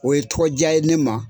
O ye tɔgɔ diya ye ne ma.